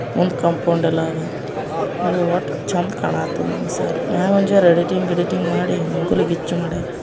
ಮುಂದ್ ಕಾಂಪೌಂಡ್ ಎಲ್ಲಾ ಆದಾ ಒಟ್ಟು ಚಂದ ಕಾಣ ಕತ್ತದ ಸಾಲಿ ಮ್ಯಾಗ ಒಂದು ಜೋರು ಎಡಿಟಿಂಗ್ ಗಿಡಿಟಿಂಗ್ ಮಾಡಿ ಮುಗಿಲಗಿಚ್ಚು ಮಾಡ್ಯಾರಾ.